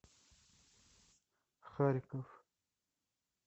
харьков